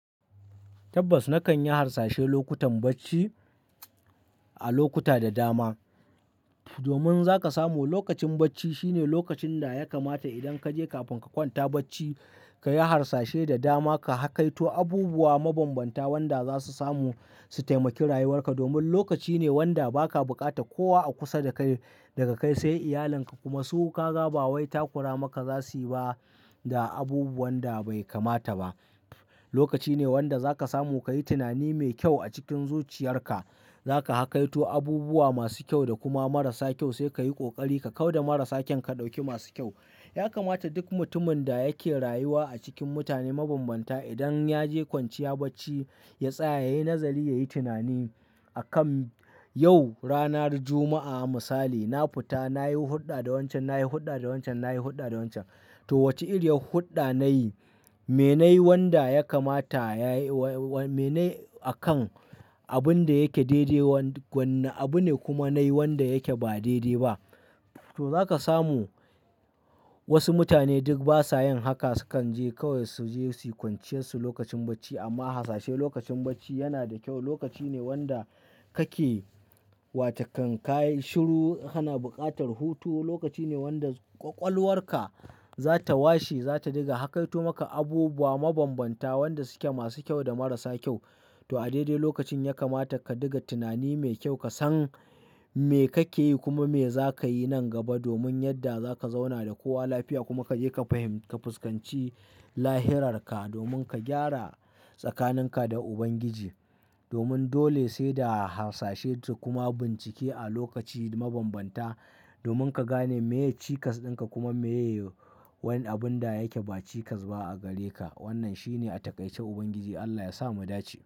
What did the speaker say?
Tabbas nakan yi harsashe lokutan bacci a lokuta da dama. Domin za ka samu lokacin bacci shine lokacin da ya kamata idan ka je kafin ka kwanta bacci, ka yi harsashe da dama ka hakaito abubuwa mabanbanta wanda za su samu su taimaki rayuwarka. Domin lokaci ne wanda ba ka bukata kowa a kusa da kai, daga kai sai iyalanka kuma su kaga ba wai takura maka za su yi ba da abu wanda bai kamata ba. Lokaci ne wanda za ka samu ka yi tunani mai kyau a cikin zuciyarka. Za ka hakaito abubuwa masu kyau da kuma marasa kyau sai ka yi ƙoƙari ka kau da marasa kyau ka ɗauki masu kyau. Ya kamata duk mutumin da yake rayuwa a cikin mutane mabanbanta idan ya je kwanciya bacci, ya tsaya ya yi nazari, ya yi tunani akan yau ranar Juma'a a misali, na fita nayi hulɗa da wancan, nayi hulɗa da wancan, nayi hulɗa da wancan. To wace irin hulɗa nayi? Me nayi wanda ya kamata ya yi wa-wa me nayi akan abun da yake daidai wa-wanne abu ne kuma nayi wanda yake ba daidai ba? To za ka samu wasu mutane duk ba sa yin haka sukan je kawai su je su kwanciyar su lokacin bacci amma harsashe lokacin bacci yana da kyau. Lokaci ne wanda kake wata kan ka yi shiru, kana buƙatar hutu. Lokaci ne wanda ƙwaƙwalwarka za ta washe, za ta riga hakaito maka abubuwa mabanbanta wanda suke masu kyau da marasa kyau. To a daidai lokacin ya kamata ka ɗiga tunani mai kyau, ka san me kake yi kuma me za ka yi nan gaba domin yadda za ka zauna da kowa lafiya kuma ka je ka fahim, ka fuskanci lahira ka domin ka gyara tsakaninka da Ubangiji. Domin dole sai da harsashe ta kuma bincike a lokaci mabanbanta domin ka gane meye cikas ɗinka kuma meye wani abun da yake ba cikas ba a gare ka. Wannan shine a taƙaice Ubangiji Allah ya sa mu dace.